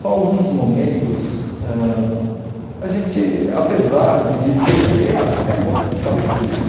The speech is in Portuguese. Só alguns momentos, ãh a gente apesar de de ter ter até gostos parecidos,